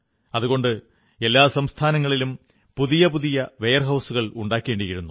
അതുകൊണ്ട് എല്ലാ സംസ്ഥാനങ്ങളിലും പുതിയ പുതിയ വെയർഹൌസുകൾ ഉണ്ടാക്കേണ്ടിയിരുന്നു